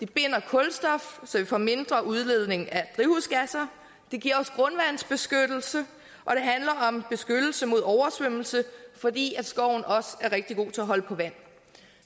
binder kulstof så vi får mindre udledning af drivhusgasser den giver os grundvandsbeskyttelse og om beskyttelse mod oversvømmelse fordi skoven også er rigtig god til at holde på vand